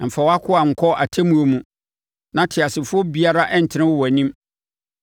Mfa wʼakoa nkɔ atemmuo mu, na ɔteasefoɔ biara ntene wɔ wʼanim.